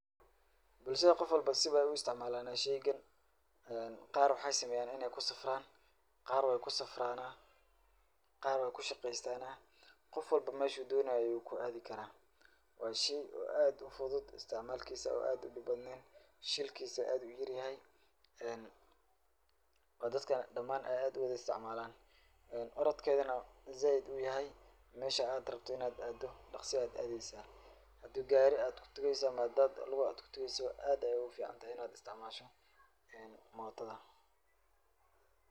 Bulshada qof walbo si bey u istcmaalan sheygan qaar waxay sameyan inay ku safran qaar wey ku safrana qaar way ku shaqeystana qof walba meshu doonaya ayu ku adi kara. Waa shay aad u fudud isticmalikiisa oo aad u dib badneyn shilkiisa aad u yaryahay ee dadka damaan aya aad u isticmaalan orodkeedana zaiid u yahay mesha aad rabto inaad aado daqso ayad adeysa hadii gari aad kutageysa ama hadad lug aad kutageysa aad ayey u fiicantahy inaad isticmaasho ee mootada.